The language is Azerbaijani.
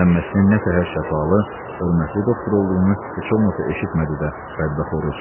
Məmməsnin nə təhər şəfalı, hörmətli doktor olduğunu heç olmasa eşitmədi də bədbəxt Oruc.